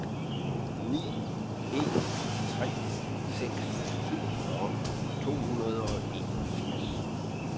ni en tre seks syvogfyrre to hundrede og enogfirs